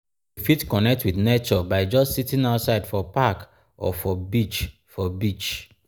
we fit connect with nature by just sitting outside for park or for beach for beach